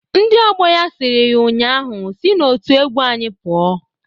Ndị ọgbọ ya siri ya nnyaa ahụ, "Si n'otu egwu anyị pụọ!"